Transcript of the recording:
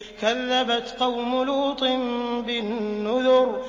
كَذَّبَتْ قَوْمُ لُوطٍ بِالنُّذُرِ